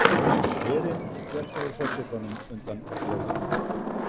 Herinn bjargaði forsetanum undan lögreglu